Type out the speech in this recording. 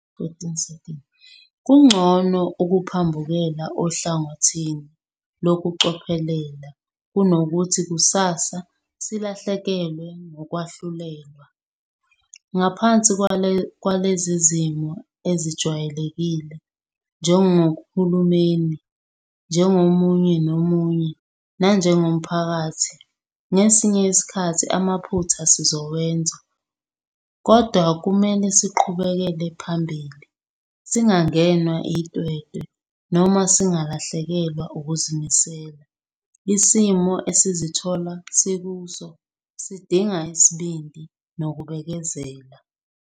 Kungcono ukuphambukela ohlangothini lokucophelela kunokuthi kusasa silahlekelwe ngokwahlulelwa. Ngaphansi kwalezi zimo ezi-ngajwayelekile, njengohulumeni, njengomunye nomunye nanjengomphakathi ngesinye isikhathi amaphutha sizowenza. Kodwa kumele siqhubekele phambili, singangenwa itwetwe noma singalahlekelwa ukuzimisela. Isimo esizithola sikuso sidinga isibindi nokubekezela.